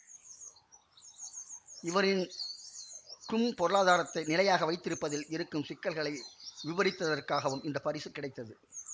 இவரின் க்கும் பொருளாதாரத்தை நிலையாக வைத்திருப்பதில் இருக்கும் சிக்கல்களை விபரித்தற்காகவும் இந்த பரிசு கிடைத்தது